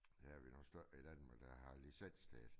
Ja vi nogen stykker i Danmark der har licens til det